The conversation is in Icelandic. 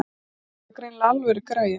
Þetta var greinilega alvöru græja.